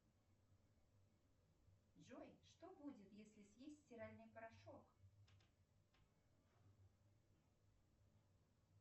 джой что будет если съесть стиральный порошок